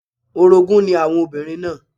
Orogún ni àwọn obìnrin náà